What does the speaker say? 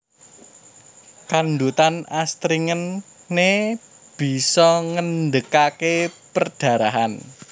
Kandhutan astringent né bisa ngendhegaké perdarahan